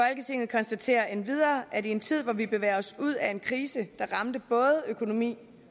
konstaterer endvidere at i en tid hvor vi bevæger os ud af en krise der ramte både økonomi